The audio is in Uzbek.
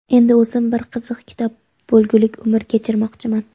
endi o‘zim bir qiziq kitob bo‘lgulik umr kechirmoqchiman..